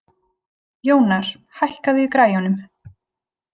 Jónar, hækkaðu í græjunum.